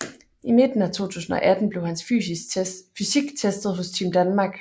I midten af 2018 blev hans fysik testet hos Team Danmark